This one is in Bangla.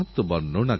উঠলখেলার আওয়াজ